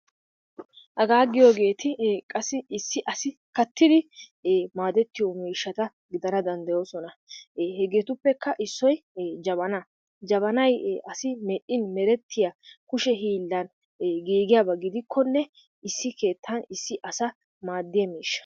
Hagaa giyogetti ee qassi issi asi kaattidi e maadettiyo miishshatta gidanna daydayoosona e hegettuppekka issoy e jabanna, jabannay e asi medhdhin merettiya kushshe hiilani giigiyabba gidikkonne issi keettan issi asa maadiyaa miishsha.